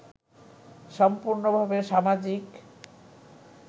সম্পূর্নভাবে সামাজিক